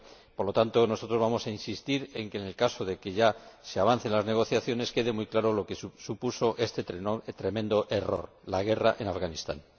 Por lo tanto, nosotros vamos a insistir en que, en el caso de que se avance en las negociaciones, quede muy claro lo que supuso este tremendo error la guerra en Afganistán.